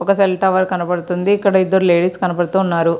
ఒక cell tower కనబడుతుంది. ఇక్కడ ఇద్దరు లేడీస్ కనబడుతూ ఉన్నారు.